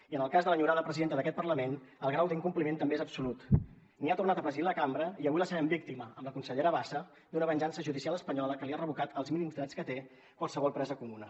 i en el cas de l’enyorada presidenta d’aquest parlament el grau d’incompliment també és absolut ni ha tornat a presidir la cambra i avui la sabem víctima amb la consellera bassa d’una venjança judicial espanyola que li ha revocat els mínims drets que té qualsevol presa comuna